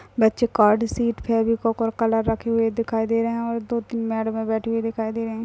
बच्चे card sheet Fevicol और colour रखे हुए दिखाई दे रहे है और दो तीन मडैमे बैठी हुई दिखाई दे रहे।